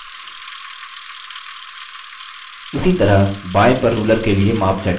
उसी तरह बायें पर ruler के लिए माप set करें